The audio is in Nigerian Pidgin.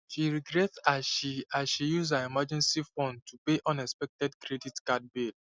she regret as she as she use her emergency fund to pay unexpected credit card bill